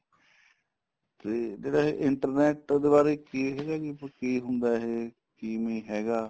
ਤੇ ਜਿਹੜਾ ਏ internet ਦੇ ਬਾਰੇ ਕੀ ਇਹਦਾ ਕੀ ਹੁੰਦਾ ਇਹ ਕਿਵੇਂ ਹੈਗਾ